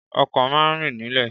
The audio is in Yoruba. Ọkọ̀ má a ń rìn nílẹ̀